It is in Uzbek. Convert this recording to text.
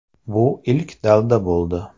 Bu ilk dalda bo‘ldi.